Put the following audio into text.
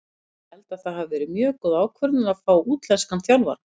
Ég held að það hafi verið mjög góð ákvörðun að fá útlenskan þjálfara.